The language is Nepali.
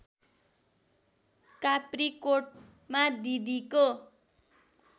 काप्रीकोटमा दिदीको